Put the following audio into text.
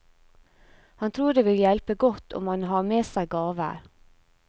Han tror det vil hjelpe godt om han har med seg gaver.